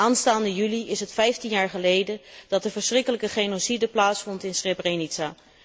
Aanstaande juli is het vijftien jaar geleden dat de verschrikkelijke genocide plaatsvond in Srbrenica.